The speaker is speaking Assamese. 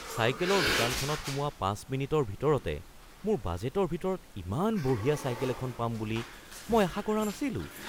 চাইকেলৰ দোকানখনত সোমোৱা ৫ মিনিটৰ ভিতৰতে মোৰ বাজেটৰ ভিতৰত ইমান বঢ়িয়া চাইকেল এখন পাম বুলি মই আশা কৰা নাছিলোঁ।